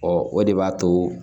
Ɔ o de b'a to